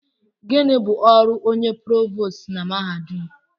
Gịnị bụ ọrụ onye provost na mahadum?